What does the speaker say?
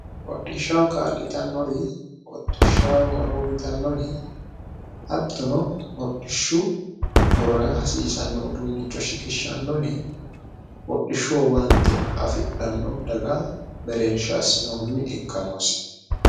hodhishshaho kaa'litannori hodhishshaho horo yitannori hattono hordhishshu horora hasiisanno uduunnicho shiqishshaannori hodhishshu owaante afidhanno daga mereersha assinohunni ikka noose